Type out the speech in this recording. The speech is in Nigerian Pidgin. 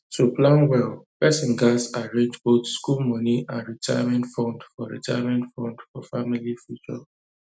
to plan well person gats arrange both school money and retirement fund for retirement fund for family future